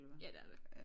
Ja det er det